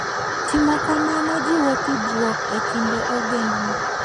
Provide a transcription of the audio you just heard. Timo kamano jiwo tudruok e kind ogendini.